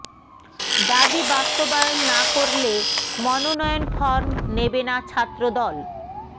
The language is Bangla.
দাবি বাস্তবায়ন না করলে মনোনয়ন ফরম নেবে না ছাত্রদল